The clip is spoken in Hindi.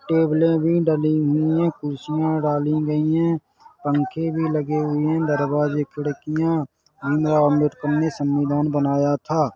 टेबलें भी ड ली हुईं हैं कुर्सियां डाली गयी हैं पंखे भी लगे हुए हैं दरवाजे खिड़कियां भीम राव आंबेडकर ने संविधान बनाया था--